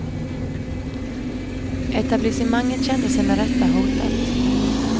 Etablissemanget kände sig med rätta hotat.